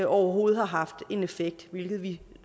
overhovedet har haft en effekt hvilket vi